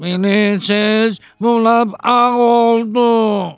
Mənim ceviz bulanıq ağ oldu.